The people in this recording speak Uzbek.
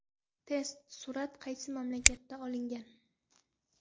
Test: Surat qaysi mamlakatda olingan?.